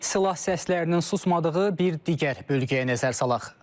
Silah səslərinin susmadığı bir digər bölgəyə nəzər salaq.